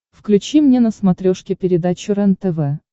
включи мне на смотрешке передачу рентв